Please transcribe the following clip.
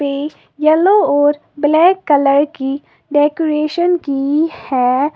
ये येलो और black colour की डेकोरेशन की है।